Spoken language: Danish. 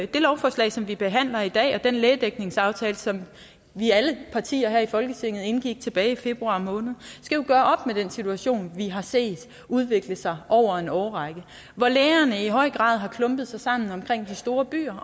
det lovforslag som vi behandler i dag og den lægedækningsaftale som alle partier her i folketinget indgik tilbage i februar måned skal jo gøre op med den situation vi har set udvikle sig over en årrække hvor lægerne i høj grad har klumpet sig sammen omkring de store byer